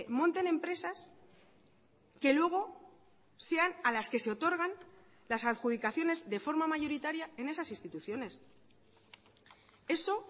monten empresas que luego sean a las que se otorgan las adjudicaciones de forma mayoritaria en esas instituciones eso